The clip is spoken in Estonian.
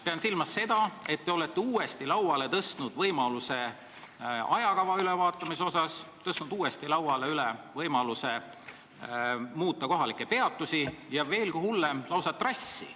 Pean silmas seda, et olete uuesti lauale tõstnud võimaluse ajakava üle vaadata, tõstnud uuesti lauale võimaluse muuta kohalikke peatusi ja veelgi hullem, lausa trassi.